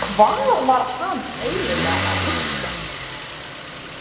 Hvað var hann eiginlega að hugsa!